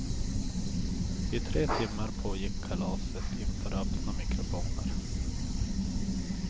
I tre timmar pågick kalaset inför öppna mikrofoner.